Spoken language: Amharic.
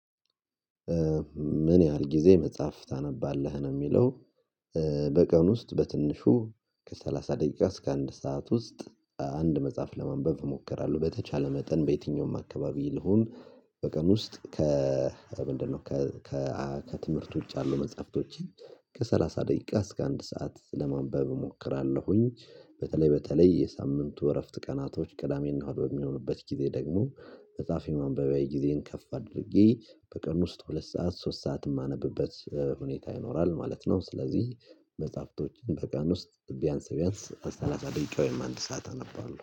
ምን ያህል ጊዜ መጽሐፍ ታነባለህ ነው የሚለው? በቀን ውስጥ በትንሹ ከሰላሳ ደቂቃ እስከ አንድ ሰዓት ውስጥ አንድ መጽሐፍ ለማንበብ እሞክራለሁ በተቻለ መጠን በየትኛውም አካባቢ ልሁን። በቀን ውስጥ ከ ምንድነው ከ ከ ከትምህርት ውጪ ያሉ መጽሐፍቶችን ከሰላሳ ደቂቃ እስከ አንድ ሰዓት ለማንበብ እሞክራለሁኝ። በተለይ በተለይ የሳምንቱ እረፍት ቀናቶች ቅዳሜና እሁድ በሚሆኑበት ጊዜ ደግሞ መጽሐፍ ማንበቢያዊ ጊዜን ከፍ አድርጌ በቀን ውስጥ ሁለት ሰዓት ሶስት ሰዓት የማነብበት ሁኔታ ይኖራል ማለት ነው። ስለዚህ መጽሐፍቶችን በቀን ውስጥ ቢያንስ ቢያንስ ሰላሳ ደቂቃ ወይም አንድ ሰዓት አነባለሁ